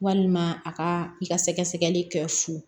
Walima a ka i ka sɛgɛsɛgɛli kɛ fu